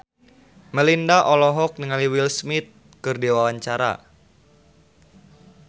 Melinda olohok ningali Will Smith keur diwawancara